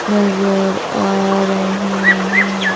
नजर आ रही हैं।